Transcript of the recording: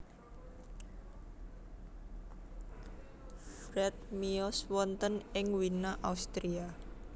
Fried miyos wonten ing Wina Austria